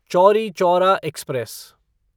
Chauri Chaura express